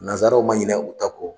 Nazaraw man ɲinɛ u ta kɔ.